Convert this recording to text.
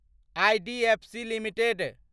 IDFC limited